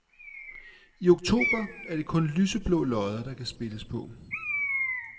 I oktober er det kun lyseblå lodder, der kan spilles på.